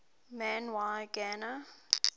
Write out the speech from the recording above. man y gana